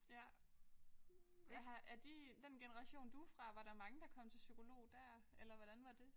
Ja. Jeg har er din den generation du er fra var der mange der kom psykolog der eller hvordan var det?